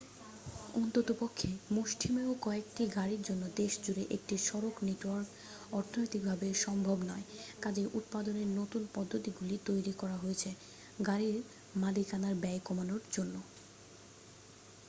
অন্ততপক্ষে মুষ্টিমেয় কয়েকটি গাড়ির জন্য দেশজুড়ে একটি সড়ক নেটওয়ার্ক অর্থনৈতিকভাবে সম্ভব নয় কাজেই উৎপাদনের নতুন পদ্ধতিগুলি তৈরি করা হয়েছে গাড়ির মালিকানার ব্যয় কমানোর জন্য